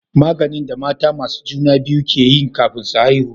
Maganin da mata masu juna biyu ke yi kafin su haihu